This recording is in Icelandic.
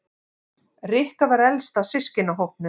Rikka var elst af systkinahópnum.